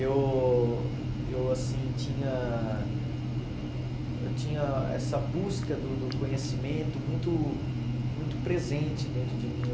Eu eu, assim, tinha eu tinha essa busca do do conhecimento muito muito presente dentro de mim.